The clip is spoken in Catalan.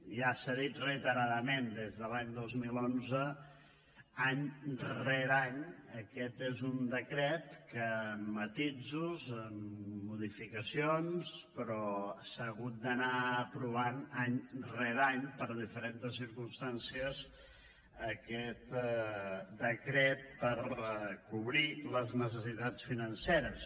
ja s’ha dit reiteradament des de l’any dos mil onze any rere any aquest és un decret que amb matisos amb modificacions però s’ha hagut d’anar aprovant any rere any per diferents circumstàncies aquest decret per cobrir les necessitats financeres